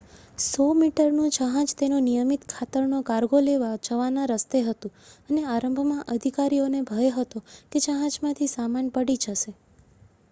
100-મીટરનું જહાજ તેનો નિયમિત ખાતરનો કાર્ગો લેવા જવાના રસ્તે હતું અને આરંભમાં અધિકારીઓને ભય હતો કે જહાજમાંથી સામાન પડી જશે